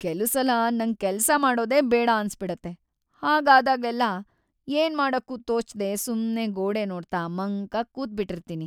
ಕೆಲುಸಲ ನಂಗ್ ಕೆಲ್ಸ ಮಾಡೋದೇ ಬೇಡ ಅನ್ಸ್‌ಬಿಡುತ್ತೆ, ಹಾಗಾದಾಗೆಲ್ಲ ಏನ್‌ ಮಾಡಕ್ಕೂ ತೋಚ್ದೇ ಸುಮ್ನೇ ಗೋಡೆ ನೋಡ್ತಾ ಮಂಕಾಗ್‌ ಕೂತ್ಬಿಟಿರ್ತೀನಿ.